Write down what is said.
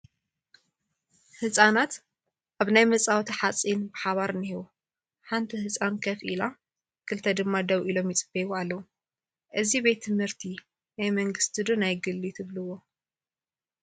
ህፃናት ኣብና መፃወቲ ሓፂን ብሓባር እኒሄው፡፡ ሓንቲ ህፃን ከፍ ኢላ 2 ድማ ደው ኢሎም ይፅበይዋ ኣለው፡፡ እዚ ቤት ት/ቲ ናይ መንግስቲ ዶ ናይ ግሊ ትብሉዎ?